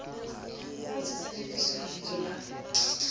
ho se tsejiswe lebiso la